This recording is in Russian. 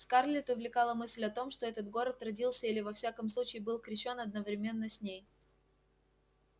скарлетт увлекала мысль о том что этот город родился или во всяком случае был крещён одновременно с ней